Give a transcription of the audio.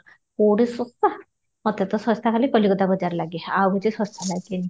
କଉଠି ଶସ୍ତା ମୋତେ ତ ଶସ୍ତା ଖାଲି କଲିକତା ବଜାର ଲାଗେ ଆଉ କିଛି ଶସ୍ତା ଲାଗେନି